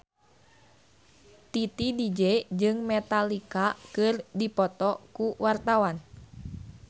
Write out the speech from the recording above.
Titi DJ jeung Metallica keur dipoto ku wartawan